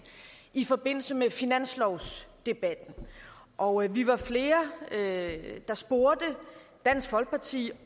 i forbindelse med finanslovsdebatten og vi var flere der spurgte dansk folkeparti